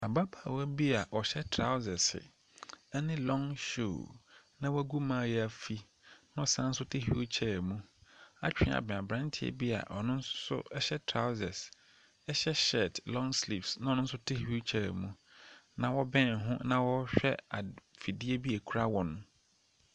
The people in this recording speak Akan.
Abaabawa bi a ɔhyɛ traosɛse ɛne lɔng hyuu na wagu maayaafi na ɔsan so te hwiil kyɛɛ mu atwe abɛn aberanteɛ bi a ɔno nso so ɛhyɛ traosɛs, hyɛ hyɛɛt lɔng slivs na ɔno nso te hwiil kyɛɛ mu na ɔbɛn ho na ɔhwɛ fidie bi a ekura wɔn.